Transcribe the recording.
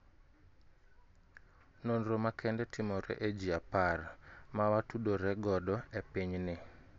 Nonro makende timore e ji apar (10) mawa tudore godo e piny ni